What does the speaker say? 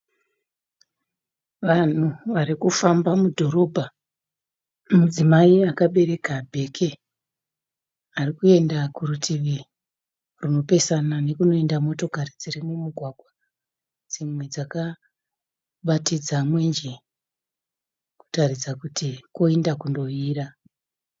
Vanhu vari kufamba mudhorobha. Mudzimai akabereka bheke ari kuenda kurutivi rinopesana nekunoenda motokari dziri mumugwagwa. Dzimwe dzakabatidza mwenje kutaridza kuti koenda kunovira.